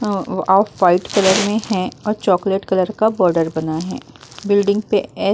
अ ओ off white colour में है और चॉकलेट कलर का बॉर्डर बना है। बिल्डिंग पे एस --